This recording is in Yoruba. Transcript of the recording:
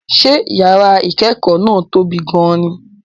Ṣé yàrá ìkẹ́kọ̀ọ́ náà tóbi gan-an ni?